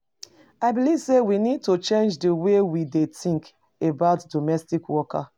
I believe say we need to change di way we dey think about domestic work.